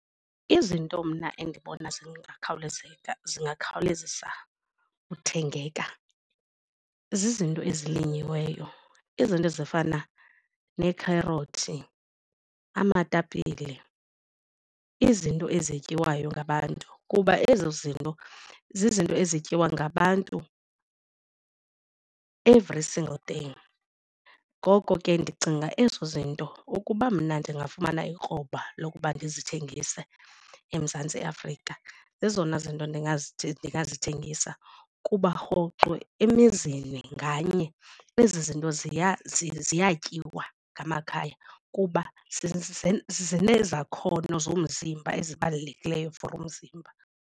Izinto mna endibona zingakhawulezeka zingakhawulezisa uthengeka zizinto ezilinyiweyo, izinto ezifana neekherothi, amatapile izinto ezityiwayo ngabantu kuba ezo zinto zizinto ezityiwa ngabantu every single day. Ngoko ke ndicinga ezo zinto ukuba mna ndingafumana ikroba lokuba ndizithengise eMzantsi Afrika ezona zinto ndingazithengisa kuba rhoqo emizini nganye ezi zinto ziya ziyatyiwa ngamakhaya kuba zinezakhono zomzimba ezibalulekileyo for umzimba.